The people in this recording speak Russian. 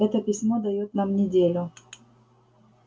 это письмо даёт нам неделю